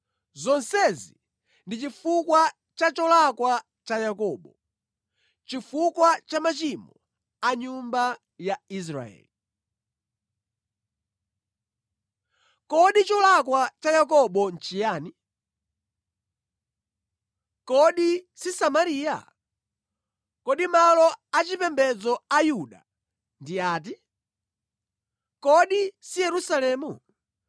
Zonsezi ndi chifukwa cha cholakwa cha Yakobo, chifukwa cha machimo a nyumba ya Israeli. Kodi cholakwa cha Yakobo nʼchiyani? Kodi si Samariya? Kodi malo achipembedzo a Yuda ndi ati? Kodi si Yerusalemu?